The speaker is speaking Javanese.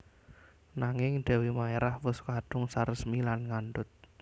Nanging Dèwi Maérah wus kadung saresmi lan ngandhut